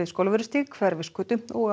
Skólavörðustíg Hverfisgötu og